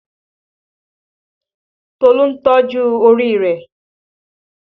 Tolu ń ju orí rẹ̀